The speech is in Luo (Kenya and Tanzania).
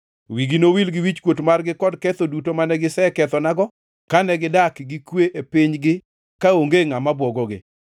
Wigi nowil gi wichkuot margi kod ketho duto mane gikethonago kane gidak gi kwe e pinygi kaonge ngʼama bwogogi.